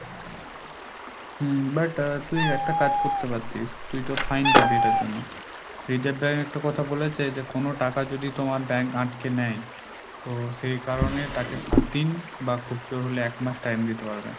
হম but তুই একটা কাজ করতে পারতিস তুই তো fine পাবি এটার জন্য Reserve Bank একটা কথা বলেছে যে কোনো টাকা যদি তোমার bank আটকে নেয় তো সেই কারণে তাকে সাতদিন বা খুব জোর হলে এক মাস time দিতে পারবেন।